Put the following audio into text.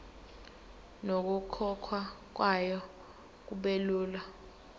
nokukhokhwa kwayo kubelula